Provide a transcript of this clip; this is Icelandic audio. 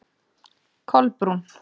Kolbrún